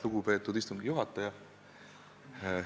Lugupeetud istungi juhataja!